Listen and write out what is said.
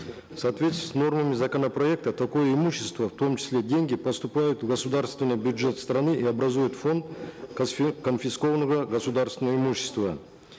в соответствии с нормами законопроекта такое имущество в том числе деньги поступают в государственный бюджет страны и образуют фонд конфискованного государственного имущества